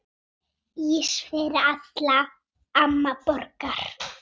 Ís fyrir alla, amma borgar